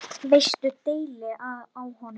Veistu deili á honum?